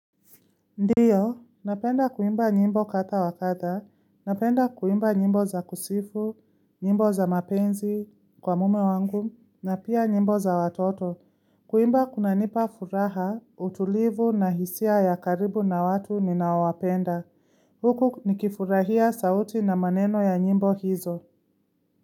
Ndiyo, napenda kuimba nyimbo kadha wakadha, napenda kuimba nyimbo za kusifu, nyimbo za mapenzi kwa mume wangu, na pia nyimbo za watoto. Kuimba kuna nipa furaha, utulivu na hisia ya karibu na watu ninaowapenda. Huku nikifurahia sauti na maneno ya nyimbo hizo.